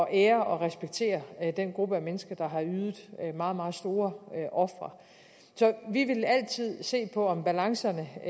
ære og respektere den gruppe af mennesker der har ydet meget meget store ofre så vi vil altid se på om balancerne er